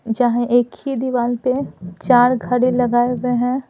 जहाँ एक ही दीवार पे चार घड़े लगाए गए हैं।